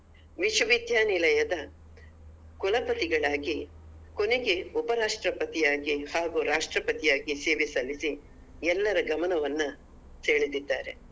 ವಿಶ್ವವಿದ್ಯಾನಿಲಯದ ಕುಲಪತಿಗಳಾಗಿ ಕೊನೆಗೆ ಉಪರಾಷ್ಟ್ರಪತಿಯಾಗಿ ಹಾಗೂ ರಾಷ್ಟ್ರಪತಿಯಾಗಿ ಸೇವೆ ಸಲ್ಲಿಸಿ ಎಲ್ಲರ ಗಮನವನ್ನ ಸೆಳೆದಿದ್ದಾರೆ